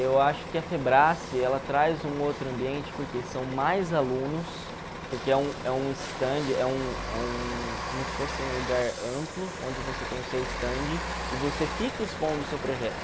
Eu acho que a ela traz um outro ambiente porque são mais alunos, porque é um é um stand, é um é um como se fosse um lugar amplo onde você tem o seu stand e você fica expondo o seu projeto.